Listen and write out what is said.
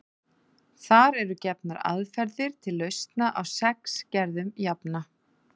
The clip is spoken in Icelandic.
Þar eru gefnar aðferðir til lausna á sex gerðum jafna.